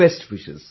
Best wishes